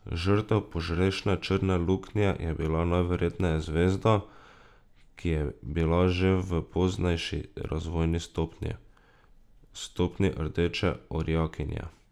Žrtev požrešne črne luknje je bila najverjetneje zvezda, ki je bila že v poznejši razvojni stopnji, stopnji rdeče orjakinje.